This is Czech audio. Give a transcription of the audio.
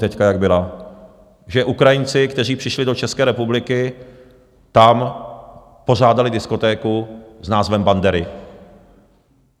Teď, jak byla, že Ukrajinci, kteří přišli do České republiky, tam pořádali diskotéku s názvem Bandery?